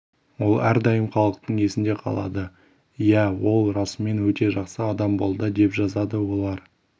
ол әрдайым халықтың есінде қалады иә ол расымен өте жақсы адам болды деп жазады олар